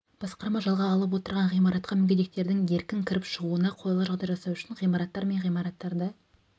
басқарма жалға алып отырған ғимаратқа мүгедектердің еркін кіріп шығуына қолайлы жағдай жасау үшін ғимараттар мен ғимараттарды